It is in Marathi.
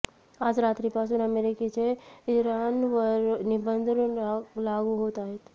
आज रात्रीपासून अमेरिकेचे इराणवर निर्बंध लागू होत आहेत